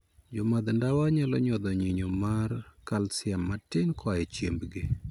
Jomadh ndawa nyalo nyodho nyinyo mar kalsiam matin koa e chiembgi.